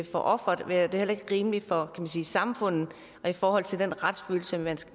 for offeret eller rimeligt for samfundet i forhold til den retsfølelse man